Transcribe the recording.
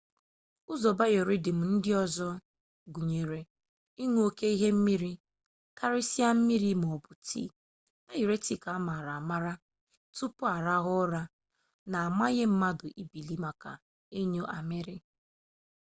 ụzọ biorhythm ndị ọzọ gụnyere ịñụ oke ihe mmiri karịsịa mmiri maọbụ tii dayuretik a maara amaara tupu arahụ ụra na-amanye mmadụ ibili maka ịnyụ amịrị